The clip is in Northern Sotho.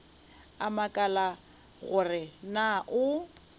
a makala gore na o